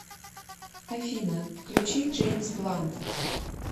афина включи джеймс блант